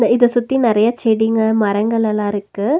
இத சுத்தி நறைய செடிங்க மரங்கலெல்லாருக்கு.